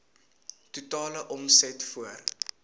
totale omset voor